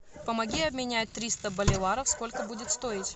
помоги обменять триста боливаров сколько будет стоить